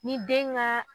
Ni den ka